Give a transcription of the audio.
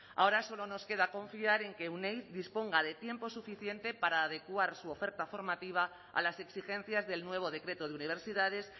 ahora solo nos queda confiar en que euneiz disponga de tiempo suficiente para adecuar su oferta formativa a las exigencias del nuevo decreto de universidades